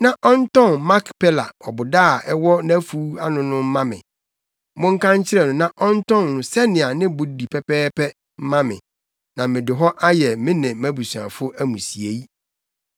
na ɔntɔn Makpela ɔboda a ɛwɔ nʼafuw ano no mma me. Monka nkyerɛ no na ɔntɔn no sɛnea ne bo di pɛpɛɛpɛ mma me, na mede hɔ ayɛ me ne mʼabusuafo amusiei.”